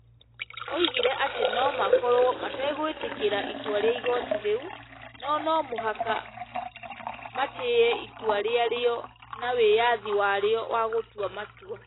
Oigire atĩ no makorũo mategwĩtĩkĩra itua rĩa igooti rĩu, no no mũhaka matĩĩe itua rĩarĩo na wĩyathi warĩo wa gũtua matua ,